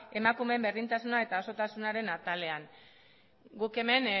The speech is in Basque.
emakumeen berdintasuna eta osotasunaren atalean guk hemen